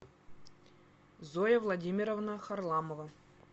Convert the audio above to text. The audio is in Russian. зоя владимировна харламова